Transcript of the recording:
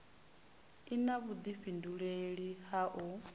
i na vhudifhinduleli ha u